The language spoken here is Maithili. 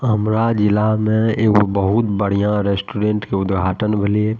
हमरा जिला में एगो बहुत बढ़िया रेस्टॉरेंट के उद्घाटन भेलई हे।